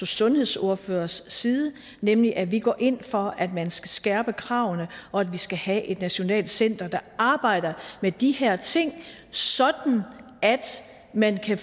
sundhedsordførers side nemlig at vi går ind for at man skal skærpe kravene og at vi skal have et nationalt center der arbejder med de her ting sådan at man kan